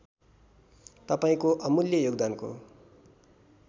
तपाईँको अमूल्य योगदानको